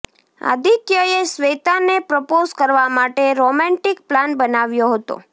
આદિત્યએ શ્વેતાને પ્રપોઝ કરવા માટે રોમાન્ટિક પ્લાન બનાવ્યો હતો